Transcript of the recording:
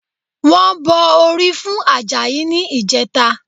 Wọ́n bọ orí fún Àjàyí ní ìjẹta